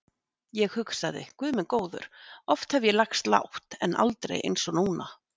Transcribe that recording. Ég hugsaði: Guð minn góður, oft hef ég lagst lágt, en aldrei eins og núna.